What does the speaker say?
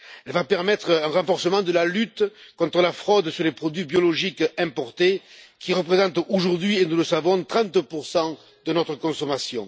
Elle va permettre un renforcement de la lutte contre la fraude sur les produits biologiques importés qui représentent aujourd'hui et nous le savons 30 de notre consommation.